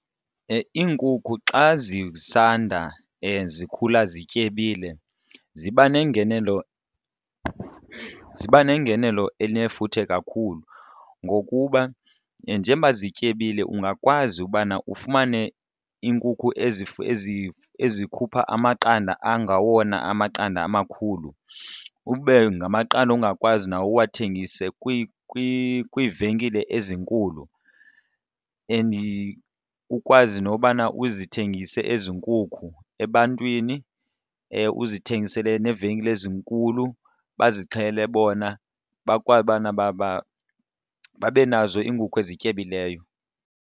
Iinkukhu xa zisanda zikhula zityebile ziba nengenelo, ziba nengenelo elinefuthe kakhulu ngokuba njengoba zityebile ungakwazi ubana ufumane iinkukhu ezikhupha amaqanda angawona amaqanda amakhulu. Ube ngamaqanda ongakwazi nawo uwathengise kwiivenkile ezinkulu and ukwazi nobana uzithengise ezi nkukhu ebantwini uzithengisele neevenkile ezinkulu bazixhele bona bakwazi ubana babe nazo iinkukhu ezityebileyo.